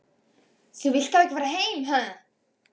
Þú vilt þá ekki fara heim?